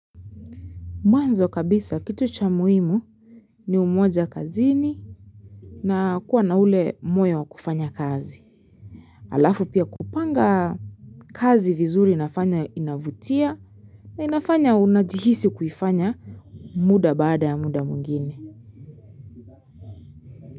Mwanzo kabisa kitu cha muimu ni umoja kazini na kuwa na ule moyo wa kufanya kazi. Alafu pia kupanga kazi vizuri inafanya inavutia na inafanya unajihisi kuifanya muda baada ya muda mwingine.